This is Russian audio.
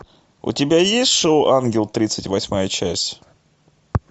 у тебя есть шоу ангел тридцать восьмая часть